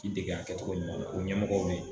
I dege a kɛcogo ɲuman na o ɲɛmɔgɔw be yen